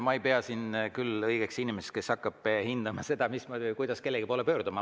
Ma ei pea siin küll end õigeks inimeseks, kes hakkab hindama seda, mismoodi või kuidas kellegi poole peaks pöörduma.